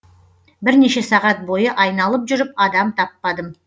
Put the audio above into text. бірнеше сағат бойы айналып жүріп адам таппадым